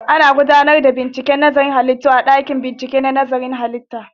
Ana gudanar da gwajin nazarin halittu a ɗakin bincike na nazarin halitta